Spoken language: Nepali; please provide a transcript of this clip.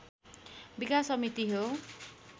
विकास समिति हो